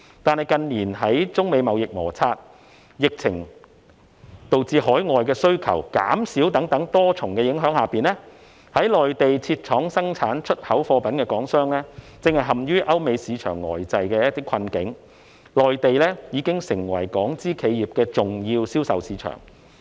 但是，近年受中美貿易摩擦，疫情導致海外需求減少等多重影響下，在內地設廠生產出口貨品的港商正陷於歐美市場呆滯的困境，內地已經成為港資企業的重要銷售市場。